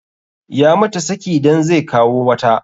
Ya mata saki dan zai kawo wata.